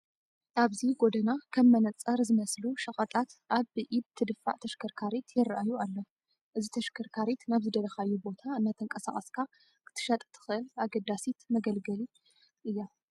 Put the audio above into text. ኣብዚ ጐደና ከም መነፀር ዝመስሉ ሸቐጣት ኣብ ብኢድ ትድፋእ ተሽከርካሪት ይርአዩ ኣለዉ፡፡ እዚ ተሽከርካሪት ናብ ዝደለኻዮ ቦታ እናተንቀሳቐስካ ክትሸጥ ተኽእል ኣገዳሲት መገልገሊ እያ፡፡